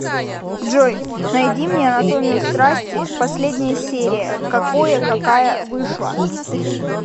джой найди мне анатомию страсти последняя серия какое какая вышла